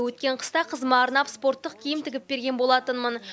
өткен қыста қызыма арнап спорттық киім тігіп берген болатынмын